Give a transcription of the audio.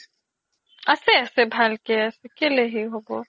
আছে আছে ভালকে আছে কেলেই সেই হ'ব